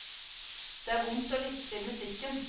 Det er vondt å lytte til musikken.